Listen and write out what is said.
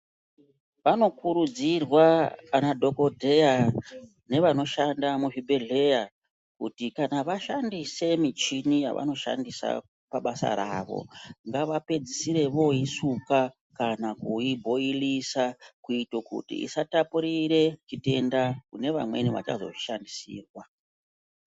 Vanokurudzirwa anadhokodheya nevanoshanda muzvibhehleya kuti kana vashandise michini yavanoshandisa pabasa ravo ngavapedzisire voisuka kana kuibhoilisa kuite kuti isatapurire chitenda kunevamweni vachazoishandisirwa.